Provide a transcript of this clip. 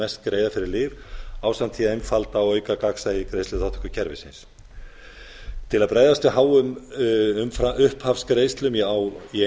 mest greiða fyrir lyf ásamt því að einfalda og auka gagnsæi greiðsluþátttökukerfisins til að bregðast við háum upphafsgreiðslum í